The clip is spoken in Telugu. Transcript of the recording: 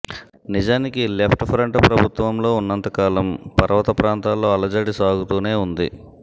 నిజానికి లెఫ్ట్ ఫ్రంట్ ప్రభుత్వంలో వున్నంతకాలం పర్వతప్రాంతాల్లో అలజడి సాగుతూనే వుంది